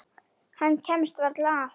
Hemmi kemst varla að.